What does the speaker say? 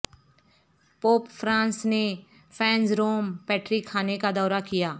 pope Francis نے فینر Rome Patrick خانے کا دورہ کیا